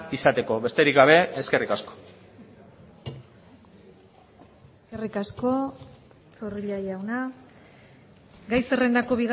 izateko besterik gabe eskerrik asko eskerrik asko zorrilla jauna gai zerrendako